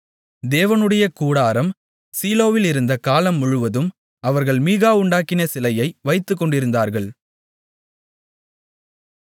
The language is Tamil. தேவனுடைய கூடாரம் சீலோவிலிருந்த காலம் முழுவதும் அவர்கள் மீகா உண்டாக்கின சிலையை வைத்துக்கொண்டிருந்தார்கள்